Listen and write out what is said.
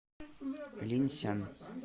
линьсян